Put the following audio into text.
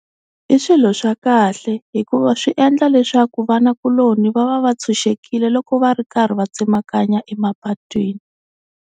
I swilo swa kahle hikuva swi endla leswaku vanakuloni va va va tshunxekile loko va ri karhi va tsemakanya emapatwini.